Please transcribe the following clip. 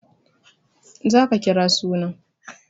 Za ka kira suna!